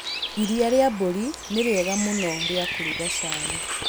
Iria rĩa mbũri nĩ rĩega mũno rĩa kũruga cai.